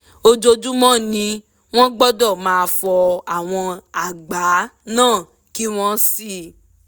ojoojúmọ́ ni wọ́n gbọ́dọ̀ máa fọ àwọn àgbá náà kí wọ́n sì